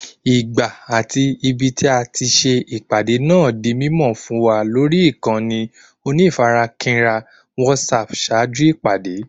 Ìgbà àti ibití ati se ìpàdé náà di mímọ̀ fún wa lórí ìkànnì onífarakínra WhatsApp ṣáájú ìpàdé